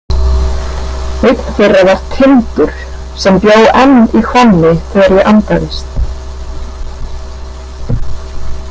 Einn þeirra var Tindur sem bjó enn í Hvammi þegar ég andaðist.